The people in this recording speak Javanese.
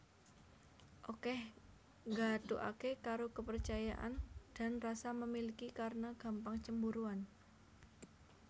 Okeh nggathukake karo kepercayaan dan rasa memiliki karena gampang cemburuan